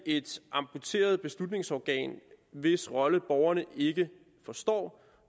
et amputeret beslutningsorgan hvis rolle borgerne ikke forstår